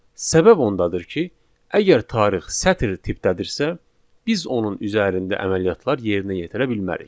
Səbəb ondadır ki, əgər tarix sətr tipdədirsə, biz onun üzərində əməliyyatlar yerinə yetirə bilmərik.